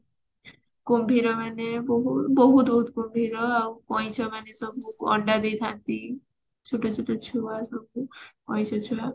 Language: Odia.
କୁମ୍ଭୀର ମାନେ ବହୁ ବହୁତ ବହୁତ କୁମ୍ଭୀର ଆଉ କଇଁଛ ମାନେ ସବୁ ଅଣ୍ଡା ଦେଇଥାନ୍ତି ଛୋଟ ଛୋଟ ଛୁଆସବୁ କଇଁଛ ଛୁଆ